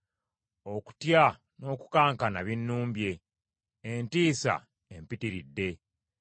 Okutya n’okukankana binnumbye; entiisa empitiridde.